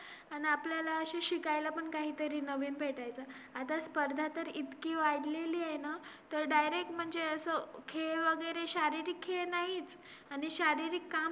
company चे premises काययेत.